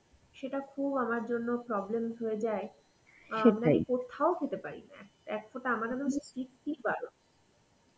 সেটা খুব আমার জন্য problem হয়ে যায় অ্যাঁ আমি কোথাও খেতে পারি না. এক ফোঁটা আমাদের মধ্যে strictly বারণ.